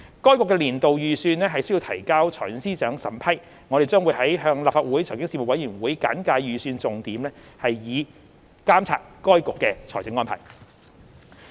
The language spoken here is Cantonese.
該局的年度預算須提交財政司司長審批，我們將會向立法會財經事務委員會簡介預算重點，以監察該局的財政安排。